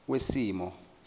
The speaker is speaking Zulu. wesimo